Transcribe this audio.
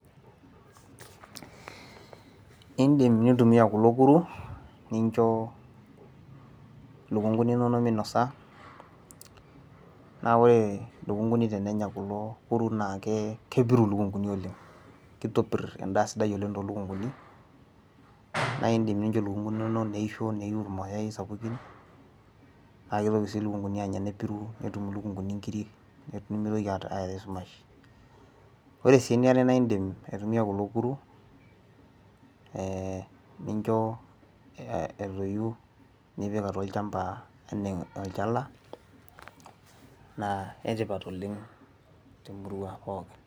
idim nintumia kulo kuru nincho ilukunguni inonok minosa, naa ore ilukunguni tenenya kulo kuru naa kepiru iluknguni oleng, amu ore kulo kuru kitopir edaa siai oleng too lukunguni. naa idim nincho ilukunguni inonok, neisho neiu irmayai sapukin. naa kitoki sii iluknkuni anya nepiru netum ilunkuni nkiri, nimitoki ae esumash. ore sii eniare naa idim aitumia kulo kuru ninco etuyu, nipik atua olchampa anaa olchala naa ene tipat oleng temurua pookin.